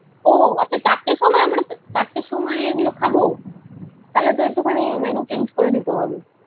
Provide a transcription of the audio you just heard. ও আচ্ছা চারটের সময়। আমরা চারটে সময় এগুলো খাব? থালে তো একটু খানি menu change করে দিতে হবে।